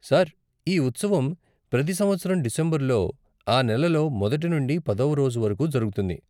Sir, ఈ ఉత్సవం ప్రతి సంవత్సరం డిసెంబరులో, ఆ నెలలో మొదటి నుండి పదవ రోజు వరకు జరుగుతుంది.